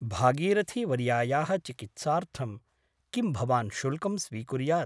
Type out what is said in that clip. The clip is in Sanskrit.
भागीरथीवर्यायाः चिकित्सार्थं किं भवान् शुल्कं स्वीकुर्यात् ?